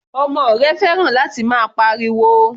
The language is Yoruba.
Ọmọ rẹ̀ fẹ́ràn láti máa pa ariwo.